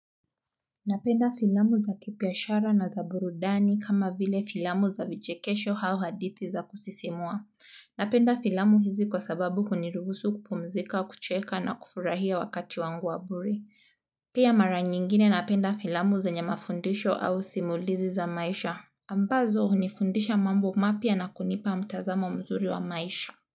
Napenda filamu za kibiashara na za burudani kama vile filamu za vichekesho au hadithi za kusisimua. Napenda filamu hizi kwa sababu huniruhusu kupumzika, kucheka na kufurahia wakati wangu wa bure. Pia mara nyingine napenda filamu zenye mafundisho au simulizi za maisha. Ambazo hunifundisha mambo mapya na kunipa mtazamo mzuri wa maisha.